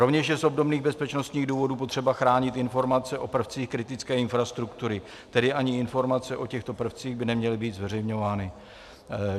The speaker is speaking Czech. Rovněž je z obdobných bezpečnostních důvodů potřeba chránit informace o prvcích kritické infrastruktury, tedy ani informace o těchto prvcích by neměly být zveřejňovány.